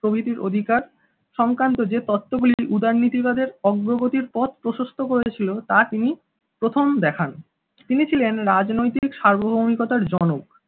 প্রভৃতির অধিকার সংক্রান্ত যে তত্ত্বগুলি উদারনীতিবাদের অগ্রগতির পথ প্রশস্ত করেছিল, তা তিনি প্রথম দেখান তিনি ছিলেন রাজনৈতিক সার্বভৌমিকতার জনক